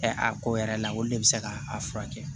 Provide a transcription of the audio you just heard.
a ko yɛrɛ la olu de bɛ se k'a furakɛ